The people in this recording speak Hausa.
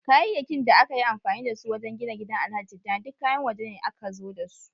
Kayayyakin da aka yi amfani da su wajen gina gidan alhaji tijjani duk kayan wajene aka zo dasu